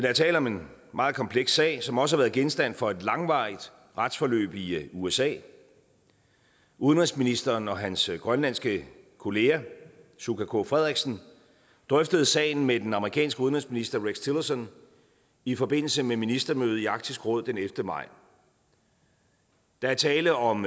er tale om en meget kompleks sag som også har været genstand for et langvarigt retsforløb i usa udenrigsministeren og hans grønlandske kollega suka k frederiksen drøftede sagen med den amerikanske udenrigsminister rex tillerson i forbindelse med et ministermøde i arktisk råd den ellevte maj der er tale om